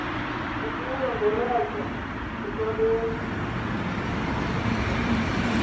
kubuya ngoratya ishwaleke